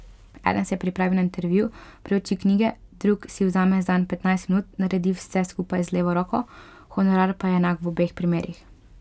Eden se pripravi na intervju, preuči knjige, drug si vzame zanj petnajst minut, naredi vse skupaj z levo roko, honorar pa je enak v obeh primerih.